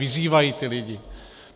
Vyzývají ty lidi.